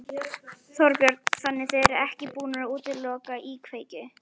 Þorbjörn: Þannig þið eruð ekki búnir að útiloka íkveikju?